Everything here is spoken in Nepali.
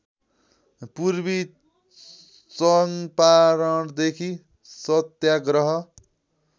पूर्वी चङ्पारणदेखि सत्याग्रह